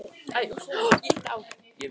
Mikið var gaman að sjá hann.